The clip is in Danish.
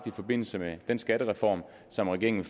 i forbindelse med den skattereform som regeringen